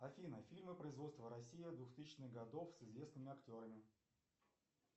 афина фильмы производства россия двухтысячных годов с известными актерами